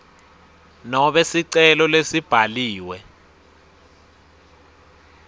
nobe sicelo lesibhaliwe